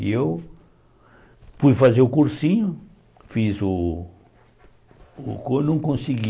E eu... fui fazer o cursinho, fiz o o cur... Não consegui...